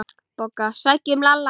BOGGA: Sækjum Lalla!